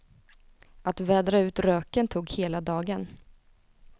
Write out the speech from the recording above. Att vädra ut röken tog hela dagen.